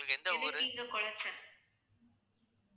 உங்களுக்கு எந்த ஊரு